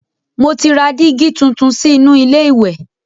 Mo ti ra dígí tuntun sí inú ilé ìwẹ̀.